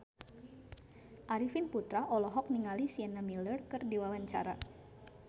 Arifin Putra olohok ningali Sienna Miller keur diwawancara